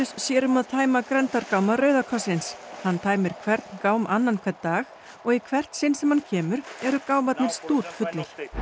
sér um að tæma grenndargáma Rauða krossins hann tæmir hvern gám annan hvern dag og í hvert sinn sem hann kemur eru gámarnir stútfullir